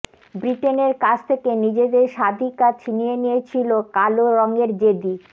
ব্রিটেনের কাছ থেকে নিজেদের স্বাধিকার ছিনিয়ে নিয়েছিল কালো রঙের জেদি